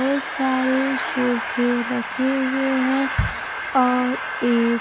बहोत सारे सोफे रखे हुए हैं और एक--